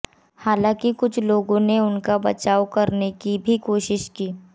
हालांकि कुछ लोगों ने उनका बचाव करने की भी कोशिश की